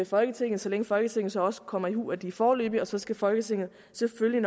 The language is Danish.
folketinget så længe folketinget så også kommer i hu at de er foreløbige og så skal folketinget selvfølgelig